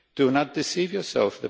Do not deceive yourselves.